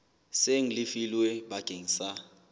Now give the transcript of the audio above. seng le lefilwe bakeng sa